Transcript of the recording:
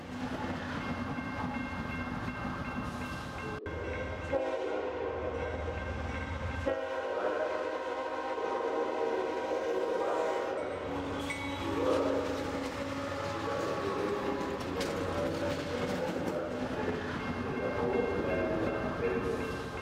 liboso nangayi awa nazali komona kabati oyo na munoko ya lopoto ba bengaka tirroir esika etelemi eza lbanda eza na ndaku te pe eza na langi ya pembe.